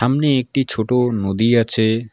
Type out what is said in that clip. সামনে একটি ছোট নদী আছে।